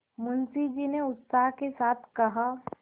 मुंशी जी ने उत्साह के साथ कहा